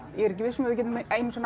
er ekki viss um að við getum einu sinni